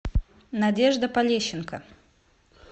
надежда полещенко